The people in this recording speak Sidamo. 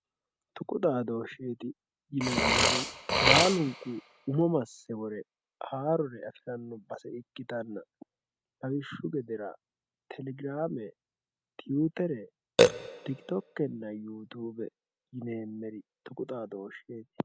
tuqu xaadoosheeti yinannihu baalunku umo masse wore haarore afiranno base ikkitanna lawishshu gedera telegirame, tiwutere, tiktokenna yuutuube yineemeri tuqu xadooshsheeti